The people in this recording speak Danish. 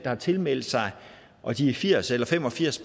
har tilmeldt sig og de firs eller fem og firs